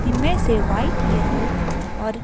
इनमें से white yellow और --